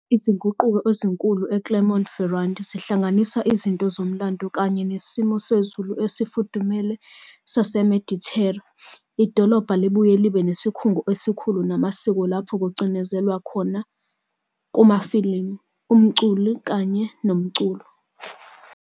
Izinguquko ezinkulu eClermont-Ferrand zihlanganisa izinto zomlando kanye nesimo sezulu esifudumele saseMedithera. Idolobha libuye libe nesikhungo esikhulu samasiko, lapho kugcizelelwa khona kumafilimu, umculo, kanye nomculo.